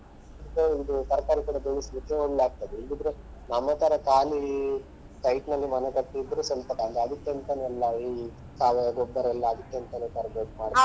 ಹೌದಾ ಇದು ತರ್ಕಾರಿ ಕೂಡ ಬೆಳೆಸ್ಲಿಕ್ಕೆ ಒಳ್ಳೆ ಆಗ್ತದೆ ಇಲ್ಲದಿದ್ರೆ ನಮ್ಮ ತರ ಕಾಲಿ site ನಲ್ಲಿ ಮನೆ ಕಟ್ಟಿದ್ರು ಸ್ವಲ್ಪ ಅದಿಕಂತನೆ ಎಲ್ಲ ಈ ಸಾವಯವ ಗೊಬ್ಬರ ಎಲ್ಲ ಅದಿಕಂತನೆ ತರ್ಬೇಕು ಮಾಡ್ಬೇಕು.